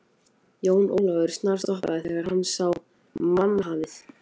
Jón Ólafur snarstoppaði þegar hann sá mannhafið.